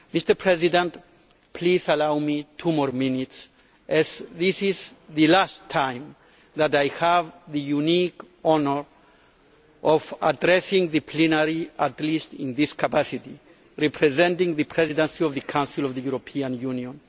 Mr President, please allow me two more minutes, as this is the last time that I have the unique honour of addressing the plenary, at least in this capacity, representing the Presidency of the Council of the European Union.